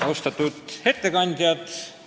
Austatud ettekandjad!